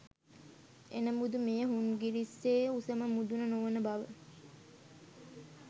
එනමුදු මෙය හුන්නස්ගිරියේ උසම මුදුන නොවන බව